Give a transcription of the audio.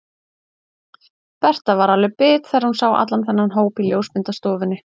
Berta var alveg bit þegar hún sá allan þennan hóp í ljósmyndastofunni.